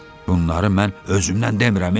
Bunları mən özümdən demirəm, e.